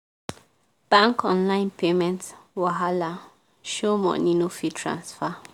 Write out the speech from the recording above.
bank online payment wahala show money no fit transfer.